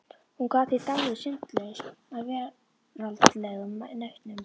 Hún gat því dáið syndlaus af veraldlegum nautnum.